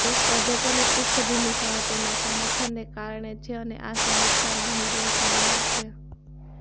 તે સ્પર્ધકોની પૃષ્ઠભૂમિ સામે તેમના સમર્થનને કારણે છે અને આ સમીક્ષાના હીરો બહાર છે